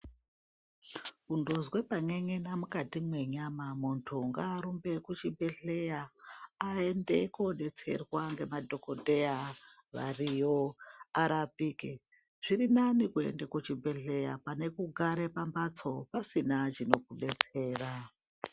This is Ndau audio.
Kundozwe pan'en'ena mukati mwenyama, muntu ngaarumbe kuchibhedhleya aende koodetserwa ngemadhokodhaya variyo arapike, zviri nani kuenda kuchibhedhleya pane kugara pambatso usina chinokubetsera.